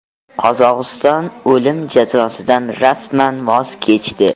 Qozog‘iston o‘lim jazosidan rasman voz kechdi.